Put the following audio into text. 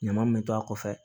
Ɲama min bɛ to a kɔfɛ